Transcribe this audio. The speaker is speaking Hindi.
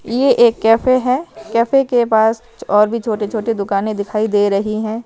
यह एक कैफे है कैफे के पास और भी छोटी-छोटी दुकानें दिखाई दे रही हैं।